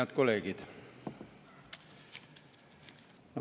Head kolleegid!